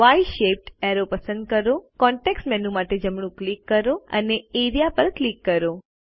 y shaped arrow પસંદ કરો context menu માટે જમણું ક્લિક કરો અને એઆરઇએ પર ક્લિક કરો